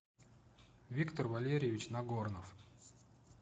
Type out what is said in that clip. виктор валерьевич нагорнов